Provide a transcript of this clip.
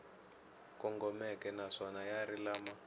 kongomeke naswona ya ri lama